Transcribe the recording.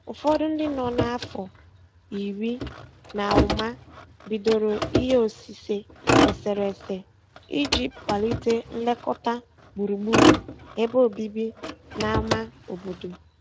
Ụfọdụ ndị nọ n'afọ iri na ụma bidoro ihe osise eserese iji kwalite nlekọta gburugburu ebe obibi n'ámá obodo.